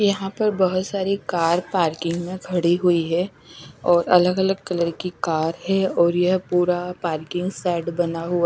यहां पर बहोत सारी कार पार्किंग में खड़ी हुई हैं और अलग अलग कलर की कार है और यह पूरा पार्किंग शेड बना हुआ--